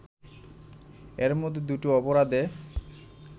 এর মধ্যে দুটো অপরাধে